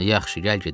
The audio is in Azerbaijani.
Yaxşı, gəl gedək.